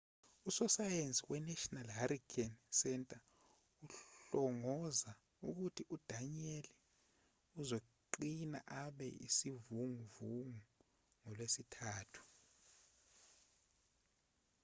usosayensi wenational hurricane center uhlongoza ukuthi u-danielle uzoqina abe isivunguvungu ngolwesithathu